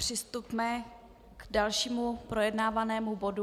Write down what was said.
Přistupme k dalšímu projednávanému bodu.